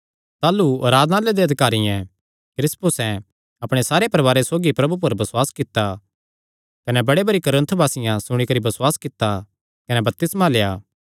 ताह़लू आराधनालय दे अधिकारियैं क्रिस्पुसे अपणे सारे परवारे सौगी प्रभु पर बसुआस कित्ता कने बड़े भरी कुरिन्थवासियां सुणी करी बसुआस कित्ता कने बपतिस्मा लेआ